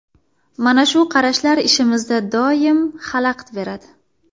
Mana shu qarashlar ishimizda doim xalaqit beradi.